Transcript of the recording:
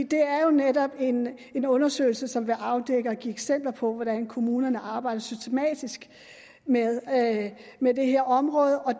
det er jo netop en undersøgelse som kan afdække og give eksempler på hvordan kommunerne arbejder systematisk med med det her område og